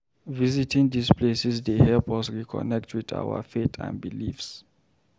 Visiting these places dey help us reconnect with our faith and beliefs.